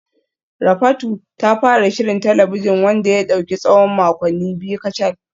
Rafatu ta fara shirin talabijin wanda ya dauki tsawon makonni biyu kacal